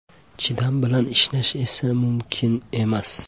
Chidam bilan ishlash esa mumkin emas.